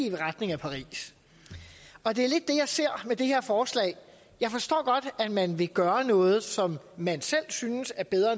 i retning af paris og det er lidt det jeg ser med det her forslag jeg forstår godt at man vil gøre noget som man selv synes er bedre